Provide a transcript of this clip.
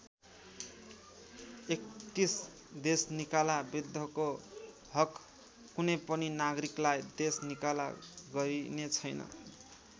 ३१ देशनिकाला विरुद्धको हक कुनैपनि नागरिकलाई देश निकाला गरिने छैन।